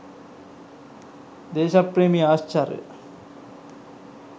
දේශප්‍රේමී ආශ්චර්ය